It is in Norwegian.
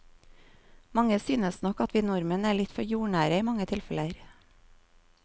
Mange synes nok at vi nordmenn er litt for jordnære i mange tilfeller.